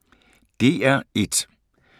DR1